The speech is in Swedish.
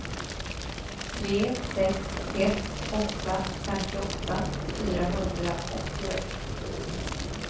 tre sex ett åtta femtioåtta fyrahundraåttioett